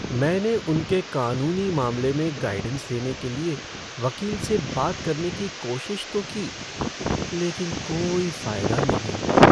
मैंने उनके कानूनी मामले में गाइडेंस लेने के लिए वकील से बात करने की कोशिश तो की, लेकिन कोई फ़ायदा नहीं हुआ!